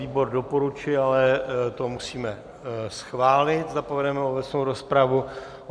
Výbor doporučil, ale to musíme schválit, zda povedeme obecnou rozpravu.